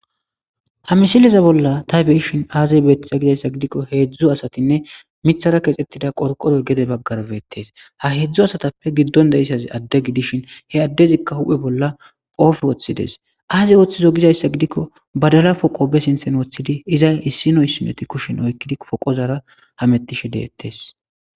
ha misileza bolla tay beyishin aaziy beettiza gizayssa gidikko heedzdzu asatinne mithara kexettida qorqoro gede baggarbeettes ha heedzdzu asatappe giddon da isaz adde gidishin he addezikka hu7he bolla qoof ooththides aazey ooththizo gizayssa gidikko badala poqo be sinthen ooththidi iza issinoy sineti kushin oykkidi poqozara hamettishe deettees